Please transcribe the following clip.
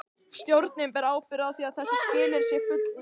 Stjórnin ber ábyrgð á því að þessu skilyrði sé fullnægt.